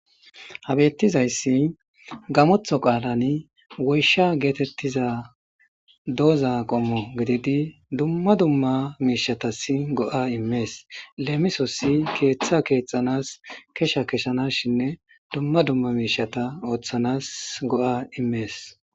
habettizayssi gamotho qaalani woysha geetettiza dooza qommo gididi dumma dumma miishatasi go7a immees leemisossi keeththa keexxanas kesha keshana shinne dumma dumma miishata ooththanas go7a immees